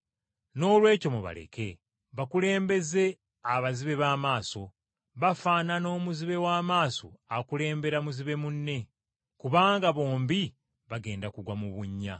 Noolwekyo mubaleke. Bakulembeze abazibe b’amaaso. Bafaanana omuzibe w’amaaso akulembera muzibe munne, kubanga bombi bagenda kugwa mu kinnya.”